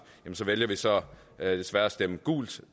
vælger vi så desværre at stemme gult